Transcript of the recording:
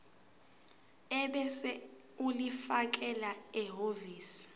ebese ulifakela ehhovisi